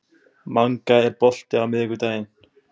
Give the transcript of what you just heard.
Manga, er bolti á miðvikudaginn?